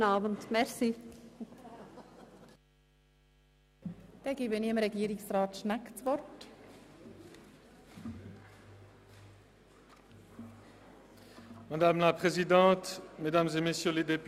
Da es keine weiteren Wortmeldungen aus dem Rat gibt, erteile ich Regierungsrat Schnegg das Wort.